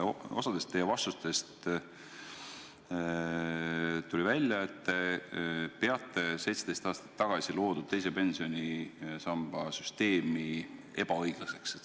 Osast teie vastustest tuli välja, et te peate 17 aastat tagasi loodud teise pensionisamba süsteemi ebaõiglaseks.